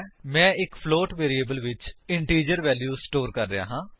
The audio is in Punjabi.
ਮੈਂ ਇੱਕ ਫਲੋਟ ਵੈਰਿਏਬਲ ਵਿੱਚ ਇੰਟੀਜਰ ਵੈਲਿਊ ਸਟੋਰ ਕਰ ਰਿਹਾ ਹਾਂ